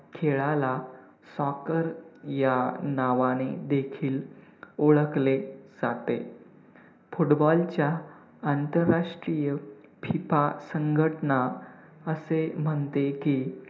खेळाला soccer या नावाने देखील ओळखले जाते, football च्या आंतरराष्ट्रीय FIFA संघटना असे म्हणते की,